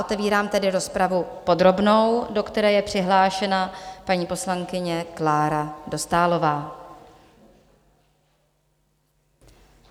Otevírám tedy rozpravu podrobnou, do které je přihlášena paní poslankyně Klára Dostálová.